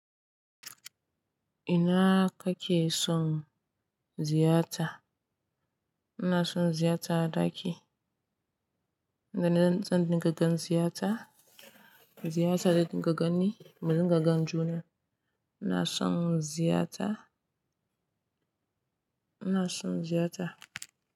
Ina kake son ziyarta? Ina son ziyarta a ɗaki. Sanan zan dinga gan ziyarta. Ziyarta da zan gani, madan gagan juna. Ina son ziyarta. Ina son ziyarta.